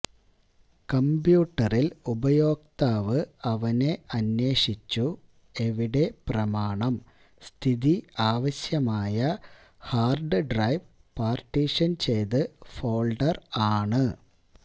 കമ്പ്യൂട്ടറിൽ ഉപയോക്താവ് അവനെ അന്വേഷിച്ചു എവിടെ പ്രമാണം സ്ഥിതി ആവശ്യമായ ഹാർഡ് ഡ്രൈവ് പാർട്ടീഷൻ ചെയ്തു് ഫോൾഡർ ആണ്